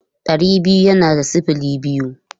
Ɗari biyu yana da sifili biyu.